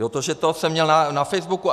Jo, to, že to jsem měl na Facebooku.